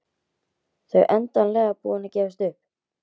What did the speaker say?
Þau endanlega búin að gefast upp.